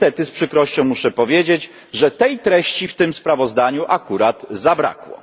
Niestety z przykrością muszę powiedzieć, że tej treści w tym sprawozdaniu akurat zabrakło.